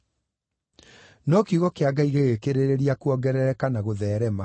No kiugo kĩa Ngai gĩgĩkĩrĩrĩria kuongerereka na gũtheerema.